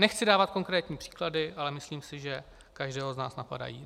Nechci dávat konkrétní příklady, ale myslím si, že každého z nás napadají.